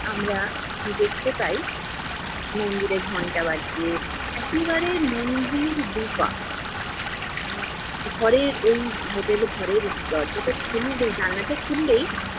আমরা দেখতে পাই, মন্দিরে ঘণ্টা বাজছে একেবারে মন্দির দু'পা। ঘরের ঐ হোটেল ঘরের দরজাটা খুললেই, জানলাটা খুললেই